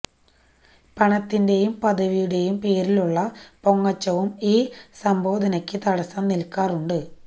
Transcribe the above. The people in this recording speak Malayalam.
പണത്തിന്റെയും പദവിയുടെയും പേരിലുള്ള പൊങ്ങച്ചവും ഈ സംബോധനക്ക് തടസ്സം നില്ക്കാറുണ്ട്